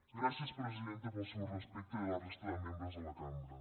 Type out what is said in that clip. gràcies presidenta pel seu respecte i a la resta de membres de la cambra